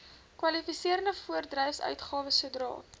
kwalifiserende voorbedryfsuitgawes sodra